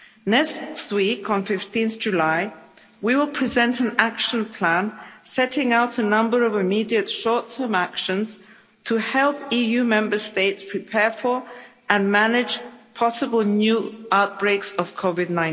Next week, on 15 July, we will present an Action Plan setting out a number of immediate short term actions to help EU Member States prepare for and manage possible new outbreaks of COVID